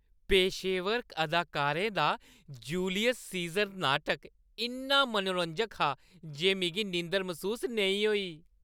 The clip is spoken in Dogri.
पेशेवर अदाकारें दा जूलियस सीज़र नाटक इन्ना मनोरंजक हा जे मिगी नींदर मसूस नेईं होई।